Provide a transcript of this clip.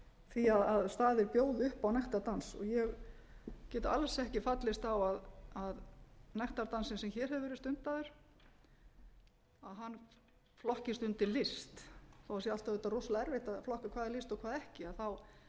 því að staðir bjóði upp á nektardans ég get alls ekki fallist á að nektardansinn sem hér hefur verið stundaður að hann flokkist undir list þó það sé alltaf rosalega erfitt að flokka hvað er list og hvað ekki þá er það nú bara